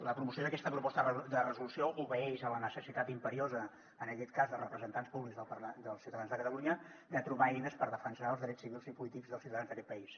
la promoció d’aquesta proposta de resolució obeeix a la necessitat imperiosa en aquest cas de representants públics dels ciutadans de catalunya de trobar eines per defensar els drets civils i polítics dels ciutadans d’aquest país